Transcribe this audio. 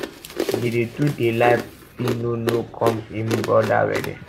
dede too dey lie phyno no come im brother wedding